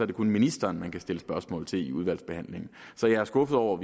det kun ministeren man kan stille spørgsmål til i udvalgsbehandlingen så jeg er skuffet over